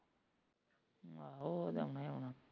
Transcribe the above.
ਆਹੋ ਉਹ ਤੇ ਆਉਣਾ ਈ ਆਉਣਾ